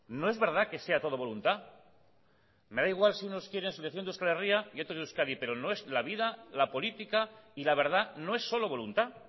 no es verdad que sea todo voluntad me da igual si unos quieren selección de euskal herria y otros de euskadi pero no es la vida la política y la verdad no es solo voluntad